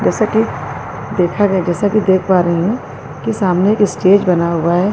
جیسا کہ دیکھا گیا جیسا کہ دیکھ پا رہی ہوں کہ سامنے ایک اسٹیج بنا ہوا ہے۔